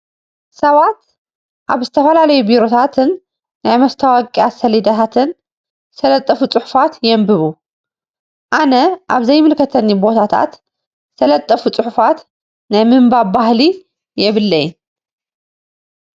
ሰባት ኣብ ዝተፈላለዩ ቢሮታትን ናይ መስታወቅያ ሰሌዳታትን ዝተለጠፉ ፅሑፋት የንብቡ። ኣነ ኣብ ዘይምልከተኒ ቦታታት ዝተለጠፉ ፅሑፋት ናይ ምንባብ ባህሊ የብለይን።